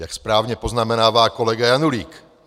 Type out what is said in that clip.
Jak správně poznamenává kolega Janulík.